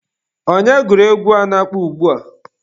Onye gụrụ egwu a na-akpọ ugbua?